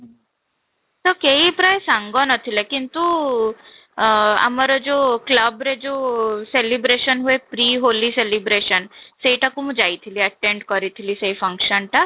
ତ କେହି ପ୍ରାୟ ସାଙ୍ଗ ନଥିଲେ କିନ୍ତୁ ଆଃ ଆମର ଯୋଉ club ରେ ଯୋଉ celebration ହୁଏ pre ହୋଲି celebration ସେଇଟା କୁ ମୁଁ ଯାଇଥିଲି attend କରିଥିଲି ସେ function ଟା